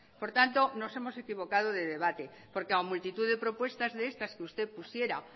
por tanto nos hemos equivocado de debate porque ha multitud de propuestas como estas que usted pusiera